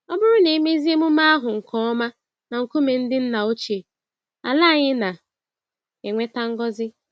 Ọbụrụ na emezie emume ahụ nke ọma na nkume ndị ńnà ochie, àlà anyị na enweta ngọzi